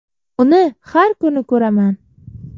Uni har kuni ko‘raman.